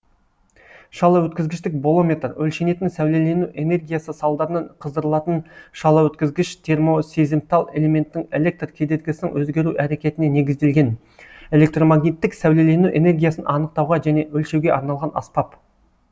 шалаөткізгіштік болометр өлшенетін сәулелену энергиясы салдарынан қыздырылатын шалаөткізгіш термосезімтал элементтің электр кедергісінің өзгеру әрекетіне негізделген электромагниттік сәулелену энергиясын анықтауға және өлшеуге арналған аспап